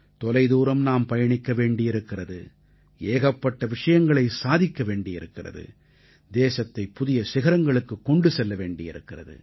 தொலைதூரம் நாம் பயணிக்க வேண்டியிருக்கிறது ஏகப்பட்ட விஷயங்களைச் சாதிக்க வேண்டியிருக்கிறது தேசத்தைப் புதிய சிகரங்களுக்குக் கொண்டு செல்ல வேண்டியிருக்கிறது